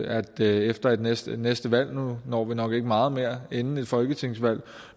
at vi efter næste næste valg nu når vi nok ikke meget mere inden et folketingsvalg